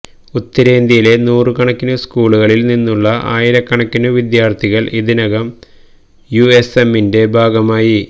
ഉത്തരേന്ത്യയിലെ നൂറുകണക്കിനു സ്കൂളുകളില് നിന്നുള്ള ആയിരകണക്കിനു വിദ്യാര്ത്ഥികള് ഇതിനകം യുഎസ്എമ്മിന്റെ ഭാഗമായി